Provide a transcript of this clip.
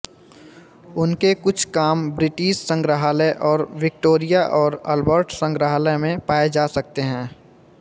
उनके कुछ काम ब्रिटिश संग्रहालय और विक्टोरिया और अल्बर्ट संग्रहालय में पाए जा सकते हैं